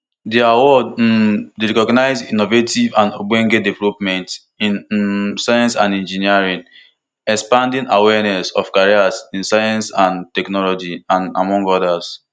di award um dey recognise innovative and ogbonge developments in um science and engineering expand awareness of careers in science and technology and among odas